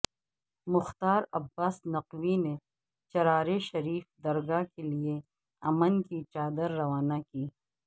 مختار عباس نقوی نے چرارے شریف درگاہ کیلئے امن کی چادر روانہ کی